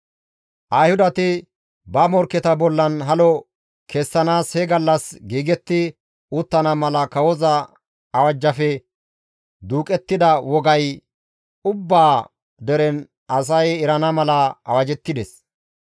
Ayhudati ba morkketa bollan halo kessanaas he gallas giigetti uttana mala kawoza awajjafe duuqettida wogay ubbaa deren asay erana mala awajettides.